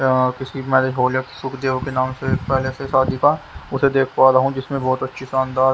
यहां किसी marriage hall या सुखदेव के नाम से एक पैलेस है शादी का उसे देख पा रहा हूं जिसमें बहुत अच्छी शानदार--